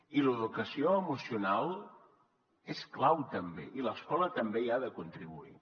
i l’educació emocional és clau també i l’escola també hi ha de contribuir